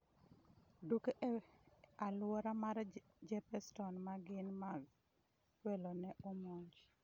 Duke e alwora mar Jeppeston ma gin mag welo ne omonj